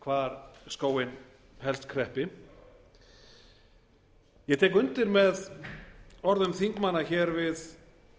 hvar skóinn helst kreppi ég tek undir með orðum þingmanna hér fyrr við